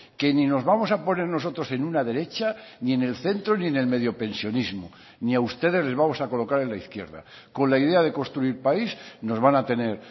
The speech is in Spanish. que ni nos vamos a poner nosotros en una derecha ni en el centro ni en el medio pensionismo ni a ustedes les vamos a colocar en la izquierda con la idea de construir país nos van a tener